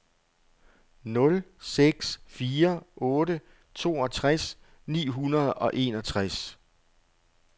nul seks fire otte toogtres ni hundrede og enogtres